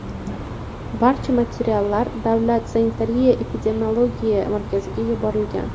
Barcha materiallar Davlat Sanitariya-epidemiologiya markaziga yuborilgan.